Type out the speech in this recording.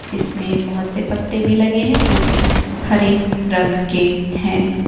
इसमें बहोत से पेत्ते भी लगे हैं जो की हरे रंग के हैं।